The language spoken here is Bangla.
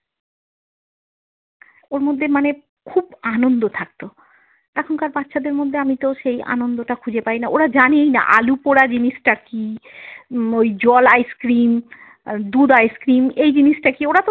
ওর মধ্যে মানে খুব আনন্দ থাকতো এখনকার বাচ্ছাদের মধ্যে আমিতো সেই আনন্দটা খুঁজে পাই না ওরা জানেই না আলুপোড়া জিনিসটা কি? উম ওই জল ice cream, আহ দুধ ice cream এই জিনিসটা কি ওরা তো।